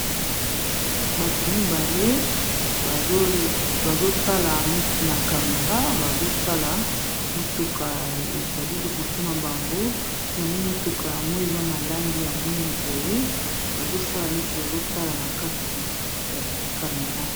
bato mibale bazotala neti na camera bazotala motuka ezali liboso na bango yango motuka yango eza na langi ya mwindo boye bazosala neti bazotala na ikati ya camera